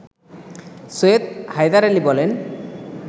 সৈয়দ হায়দার আলী বলেন